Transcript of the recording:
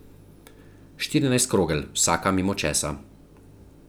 Štirinajst krogel, vsaka mimo česa.